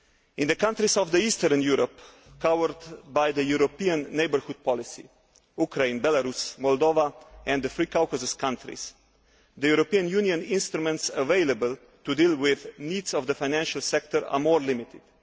In the countries of eastern Europe covered by the European Neighbourhood Policy Ukraine, Belarus, Moldova and the three Caucasus countries the European Union instruments available to deal with the needs of the financial sector are more limited.